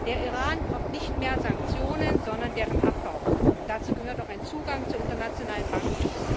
Der Iran braucht nicht mehr Sanktionen, sondern deren Abbau, und dazu gehört auch ein Zugang zu internationalen Banken.